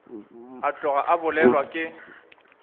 a tloga a bolelwa ke